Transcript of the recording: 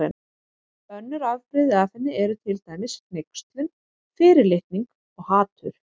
Önnur afbrigði af henni eru til dæmis hneykslun, fyrirlitning og hatur.